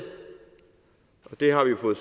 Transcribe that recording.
har vi jo fået